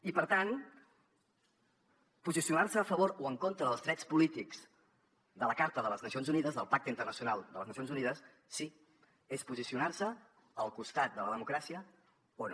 i per tant posicionar se a favor o en contra dels drets polítics de la carta de les nacions unides del pacte internacional de les nacions unides sí és posicionar se al costat de la democràcia o no